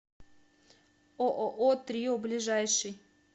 ооо трио ближайший